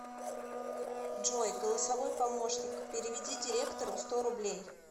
джой голосовой помощник переведи директору сто рублей